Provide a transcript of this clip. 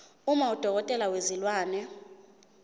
uma udokotela wezilwane